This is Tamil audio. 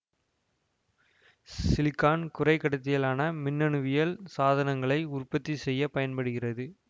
சிலிகான் குறைக் கடத்தியாலான மின்னணுவியல் சாதனங்களை உற்பத்தி செய்ய பயன்படுகிறது